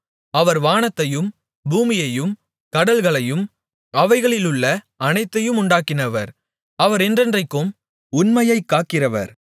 அவர் வானத்தையும் பூமியையும் கடல்களையும் அவைகளிலுள்ள அனைத்தையும் உண்டாக்கினவர் அவர் என்றென்றைக்கும் உண்மையைக் காக்கிறவர்